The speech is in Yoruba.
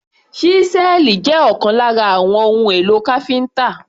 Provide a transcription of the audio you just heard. Ṣísẹ́ẹ̀lì jẹ́ ọ̀kan lára àwọn ohun èlò káfíńtà.